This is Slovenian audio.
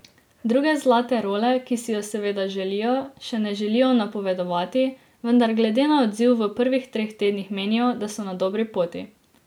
Druge zlate role, ki si jo seveda želijo, še ne želijo napovedovati, vendar glede na odziv v prvih treh tednih menijo, da so na dobri poti.